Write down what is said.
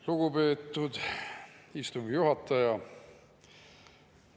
Lugupeetud istungi juhataja!